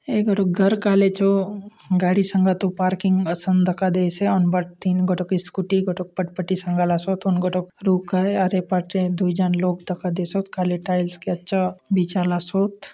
एकठू घर कालेजो गाड़ी संगा तो पार्किंग असन दका देसे ओनपर तीन घटक स्कूटी घटक पटपटी संगालासो तोन घटक रू करे आरे पाटे दुई जन लोग धक्का देसो काले टाइल्स के अच्छा बीचन ला सूत --